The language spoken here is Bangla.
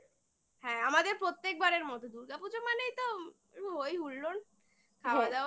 হ্যাঁ আমাদের প্রত্যেকবারের মতো দুর্গাপুজো মানেই তো হৈ হুল্লোড় খাওয়া দাওয়া